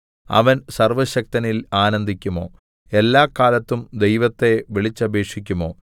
അവൻ സർവ്വശക്തനിൽ ആനന്ദിക്കുമോ എല്ലാക്കാലത്തും ദൈവത്തെ വിളിച്ചപേക്ഷിക്കുമോ